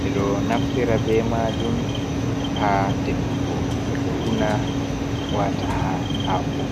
ɓeɗo naftira be majum ha defugo, ɓeɗo una wata ha haako.